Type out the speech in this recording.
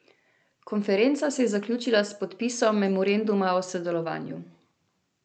Konferenca se je zaključila s podpisom memoranduma o sodelovanju.